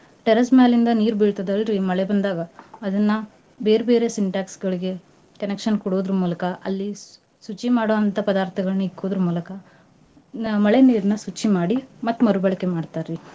Terrace ಮ್ಯಾಲಿಂದ ನೀರ್ ಬೀಳ್ತದಲ್ರಿ ಮಳೆ ಬಂದಾಗ ಅದನ್ನ ಬೇರ್ಬೇರೆ Sintex ಗಳಿಗೆ connection ಕೊಡೋದ್ರು ಮೂಲಕ ಅಲ್ಲಿ ಸ್~ ಶುಚಿ ಮಾಡೋ ಪದಾರ್ತಗಳನ್ನಿಕ್ಕೂದ್ರ ಮೂಲಕ ನ ಮಳೆ ನೀರ್ನ ಸ್ವಚ್ಛ ಮಾಡಿ ಮತ್ತ್ ಮರು ಬಳಕೆ ಮಾಡ್ತಾರ್ರಿ.